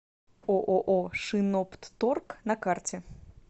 ооо шиноптторг на карте